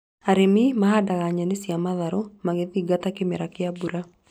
Arĩmi mahandaga nyeni cia matharũ magĩthingata kĩmera kĩa mbura